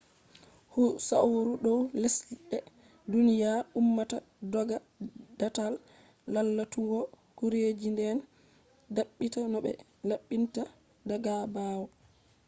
hu sauri dow lesde duniya ummata dogga datal lalatugo gureji den dabbita no be labbinta daga baawo